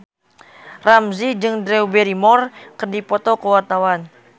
Ramzy jeung Drew Barrymore keur dipoto ku wartawan